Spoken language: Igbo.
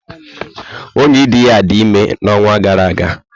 Oyidiya dị ime n'ọnwa gara aga.